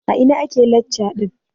A ina ake lacca ɗin?